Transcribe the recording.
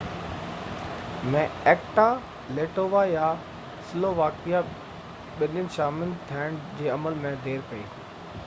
Latvia ۽ Slovakia ٻنين acta ۾ شامل ٿيڻ جي عمل ۾ دير ڪئي